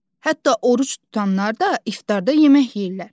Hətta oruc tutanlar da iftarda yemək yeyirlər.